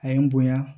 A ye n bonya